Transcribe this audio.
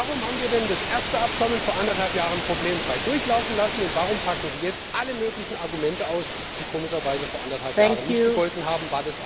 Warum haben wir denn das erste Abkommen vor eineinhalb Jahren problemfrei durchlaufen lassen, und warum packen Sie jetzt alle möglichen Argumente aus, die komischerweise vor eineinhalb Jahren nicht gegolten haben?